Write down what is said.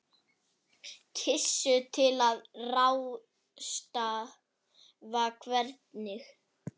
Gissur: Til að ráðstafa hvernig?